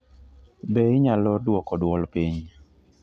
Be inyalo duoko dwol piny?